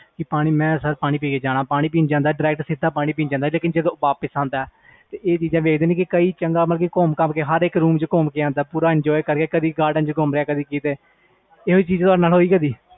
ਕਿ ਮੈਂ ਪਾਣੀ ਪੀਣ ਜਾਣਾ sir ਫਿਰ ਚੰਗੀ ਤਰਾਂ ਘੁੰਮ ਫਿਰ ਕੇ ਜਾਂਦਾ ਉਹ ਆਹ ਚੀਜ਼ ਹੋਇ ਤੁਹਾਡੇ ਨਾਲ